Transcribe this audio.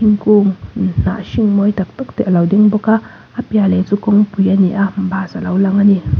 thingkung hnah hring mawi tak tak te alo ding bawka a piah leh chu kawngpui ani a bus alo lang ani.